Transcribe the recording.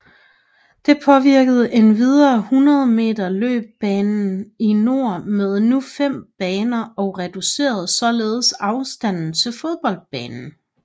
Det påvirkede endvidere 100 meter løbebanen i nord med nu fem baner og reducerede således afstanden til fodboldbanen